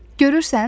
Görürsən?